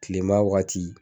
Tilema wagati